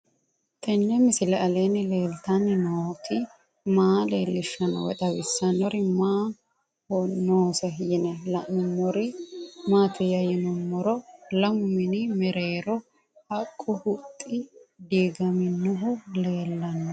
Tenni misile aleenni leelittanni nootti maa leelishshanno woy xawisannori may noosse yinne la'neemmori maattiya yinummoro lamu mini mereerro haqqu huxxi diigaminnohu leelanno